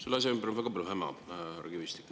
Selle asja ümber on väga palju häma, härra Kivistik.